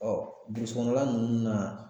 burusi kɔnɔna nunnu na